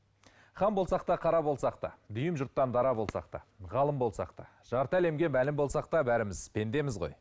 хан болсақ та қара болсақ та дүйім жұрттан дара болсақ та ғалым болсақ та жарты әлемге мәлім болсақ та бәріміз пендеміз ғой